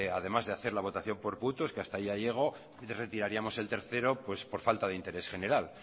además de hacer la votación por puntos que hasta ahí ya llego retiraríamos el tercero por falta de interés general